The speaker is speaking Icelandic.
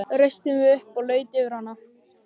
Reisti mig upp og laut yfir hana.